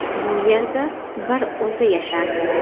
Bu yerda bir o‘zi yashardi.